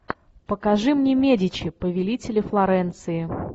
покажи мне медичи повелители флоренции